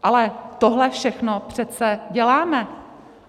Ale tohle všechno přece děláme.